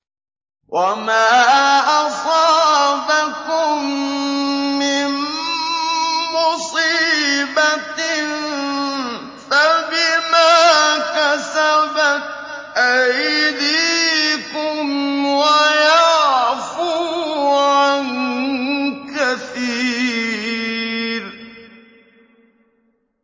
وَمَا أَصَابَكُم مِّن مُّصِيبَةٍ فَبِمَا كَسَبَتْ أَيْدِيكُمْ وَيَعْفُو عَن كَثِيرٍ